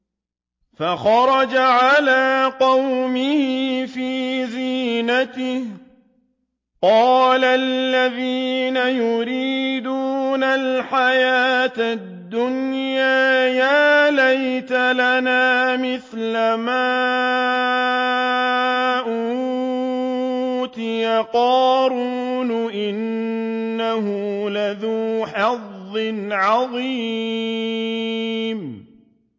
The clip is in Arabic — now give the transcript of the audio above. فَخَرَجَ عَلَىٰ قَوْمِهِ فِي زِينَتِهِ ۖ قَالَ الَّذِينَ يُرِيدُونَ الْحَيَاةَ الدُّنْيَا يَا لَيْتَ لَنَا مِثْلَ مَا أُوتِيَ قَارُونُ إِنَّهُ لَذُو حَظٍّ عَظِيمٍ